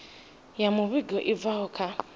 ya muvhigo i bvaho kha